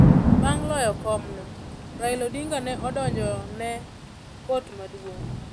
Bang ' loyo komno, Raila Odinga ne odonjo ne Kot Maduong.